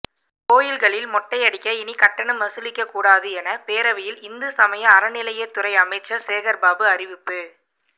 கோயில்களில் மொட்டை அடிக்க இனி கட்டணம் வசூலிக்கக்கூடாது என பேரவையில் இந்துசமய அறநிலையத்துறை அமைச்சர் சேகர்பாபு அறிவிப்பு